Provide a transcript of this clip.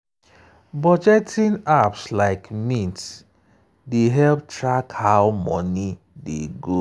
budgeting apps like mint dey help track how money dey go.